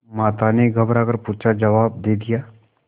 माता ने घबरा कर पूछाजवाब दे दिया